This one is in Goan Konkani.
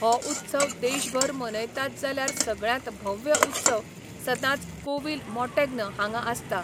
हो उत्सव देशभर मनयतात जाल्यार सगळ्यांत भव्य उत्सव सदांच कोव्हिल मॉंटॅग्न हांगा आसता.